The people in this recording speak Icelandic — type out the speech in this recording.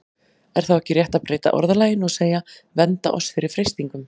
Er þá ekki rétt að breyta orðalaginu og segja: Vernda oss fyrir freistingum?